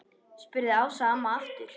spurði Ása amma aftur.